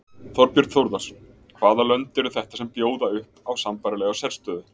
Þorbjörn Þórðarson: Hvaða lönd eru þetta sem að bjóða upp á sambærilega sérstöðu?